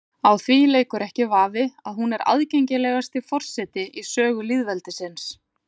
Á því leikur ekki vafi að hún er aðgengilegasti forseti í sögu lýðveldisins.